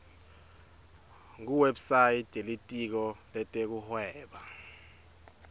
kuwebsite yelitiko letekuhweba